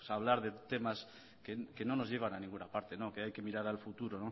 hablar de temas que no nos llevan a ninguna parte que hay que mirar al futuro